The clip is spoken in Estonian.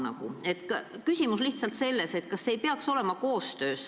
Minu küsimus on selline.